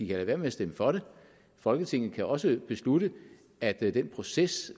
lade være med at stemme for det folketinget kan også beslutte at den proces